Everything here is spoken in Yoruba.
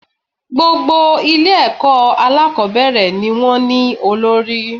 Gbogbo Ilé èkó alákòbéèrè ni wón ní olórí